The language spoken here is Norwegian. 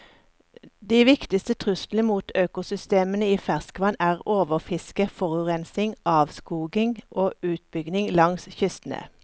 De viktigste truslene mot økosystemene i ferskvann er overfiske, forurensning, avskoging og utbygging langs kystene.